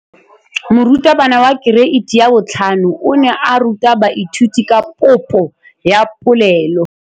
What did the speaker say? Moratabana wa kereiti ya 5 o ne a ruta baithuti ka popô ya polelô.